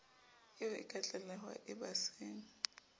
eo e ka tlalehwa embasing